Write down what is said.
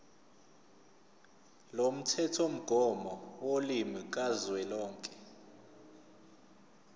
lomthethomgomo wolimi kazwelonke